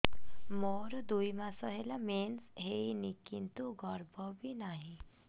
ମୋର ଦୁଇ ମାସ ହେଲା ମେନ୍ସ ହେଇନି କିନ୍ତୁ ଗର୍ଭ ବି ନାହିଁ